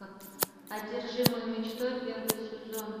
одержимый мечтой первый сезон